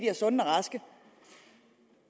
er sunde og raske